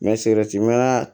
N bɛ